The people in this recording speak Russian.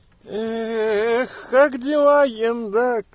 ээх как дела ен да